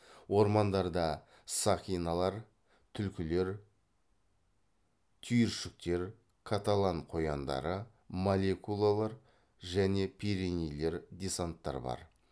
ормандарда сақиналар түлкілер түйіршіктер каталан қояндары молекулалар және пиренейлер десанттар бар